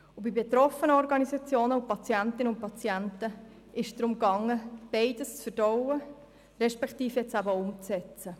Bei den betroffenen Organisationen und bei den Patientinnen und Patienten ging es darum, beides zu verdauen respektive umzusetzen.